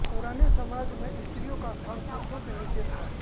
पुराने समाज में स्त्रियों का स्थान पुरुषों के नीचे था